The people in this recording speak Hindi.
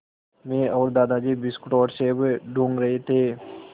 मैं और दादाजी बिस्कुट और सेब टूँग रहे थे